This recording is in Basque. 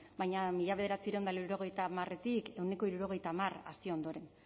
baina mila bederatziehun eta laurogeita hamaretik ehuneko hirurogeita hamar hazi ondoren